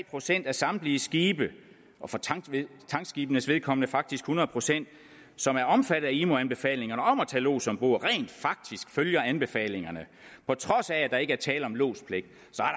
procent af samtlige skibe og for tankskibenes vedkommende faktisk hundrede procent som er omfattet af imo anbefalingerne om at tage lods ombord rent faktisk følger anbefalingerne på trods af at der ikke er tale om lodspligt